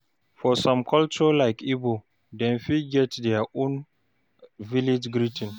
For some culture like igbo, dem fit get their own village greeting